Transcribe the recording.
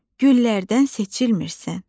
Güllərdən seçilmirsən.